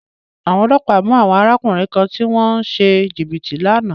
Àwọn ọlọ́pàá mú àwọn arákùnrin kan tí wọ́n ń ṣe jìbìtì lánàá.